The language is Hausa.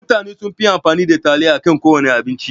Mutane sunfi amfani da taliya akan kowana abinci.